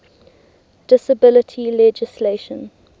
disability legislation